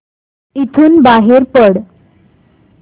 इथून बाहेर पड